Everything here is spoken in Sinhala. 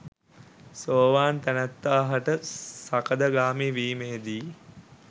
සෝවාන් තැනැත්තා හට සකදාගාමී වීමේදී